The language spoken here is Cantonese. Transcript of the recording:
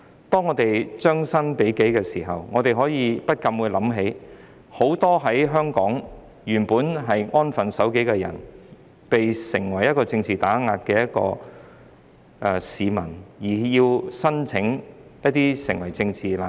當我們將心比己時，不禁會想起很多在香港本來安分守己的人士，也遭受政治打壓，需要申請成為政治難民。